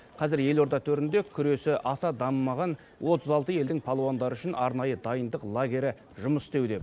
қазір елорда төрінде күресі аса дамымаған отыз алты елдің палуандары үшін арнайы дайындық лагері жұмыс істеуде